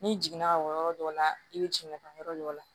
N'i jiginna ka bɔ yɔrɔ dɔ la i bɛ jigin ka taa yɔrɔ dɔ la